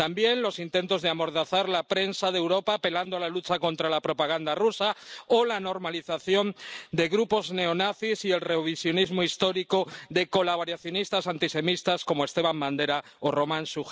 También los intentos de amordazar la prensa de Europa, apelando a la lucha contra la propaganda rusa, o la normalización de grupos neonazis y el revisionismo histórico de colaboracionistas antisemitas, como Stepán Bandera o Román Shujévich.